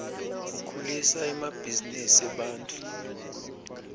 ukhulisa emabhzinisi ebantfu